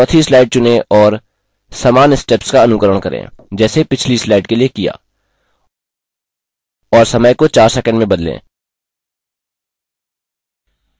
चौथी slide चुनें और समान steps का अनुकरण करें जैसे पीछली slide के लिए किया और समय को 4 सैकंड में बदलें